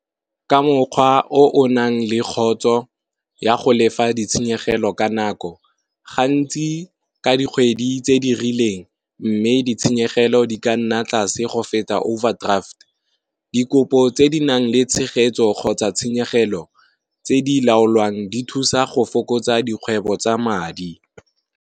Ka mokgwa o o nang le kgotso ya go lefa ditshenyegelo ka nako gantsi ka dikgwedi tse di rileng, mme ditshenyegelo di ka na tlase go feta overdraft. Di kopo tse di nang le tshegetso kgotsa tshenyegelo tse di laolwang di thusa go fokotsa dikgwebo tsa madi.